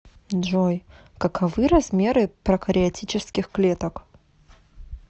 джой каковы размеры прокариотических клеток